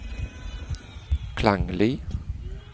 klanglig